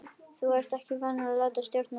Þú ert ekki vanur að láta stjórna þér.